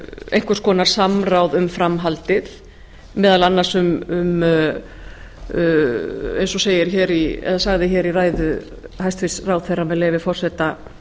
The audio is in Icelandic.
einhvers konar samráð um framhaldið meðal annars um eins og sagði hér í ræðu hæstvirts ráðherra með leyfi forseta